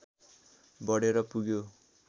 बढेर पुग्यो